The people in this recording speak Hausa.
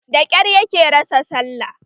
Da kyar yake rasa sallah